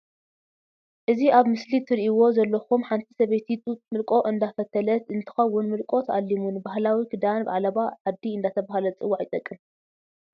እዚ ኣብ ምስሊ ትርእዎ ዘለኩም ሓንቲ ሰበይቲ ጡጥ ምልቆ እንዳፈተለት እንትኮውን ምልቆ ተኣሊሙ ንባህላዊ ክዳን ዓለባ ዓዲ እንዳተባሃለ ዝፅዋዕ ይጠቅም።